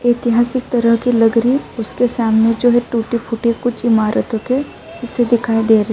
ایتیھاسک طرح کی لگ رہی ہے اسکے سامنے جو ہے ٹوٹے پھوٹے کچھ امارتو کے حصّے دکھائی دے رہی --